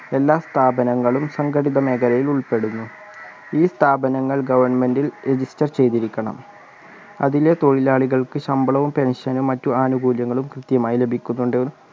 എല്ലാ സ്ഥാപനങ്ങളും സംഘടിത മേഖലയിൽ ഉൾപ്പെടുന്നു ഈ സ്ഥാപനങ്ങൾ government ൽ register ചെയ്‌തിരിക്കണം അതിലെ തൊഴിലാളികൾക്ക് ശമ്പളവും pension ഉം മറ്റു ആനുകൂല്യങ്ങളും കൃത്യമായി ലഭിക്കുന്നുണ്ട്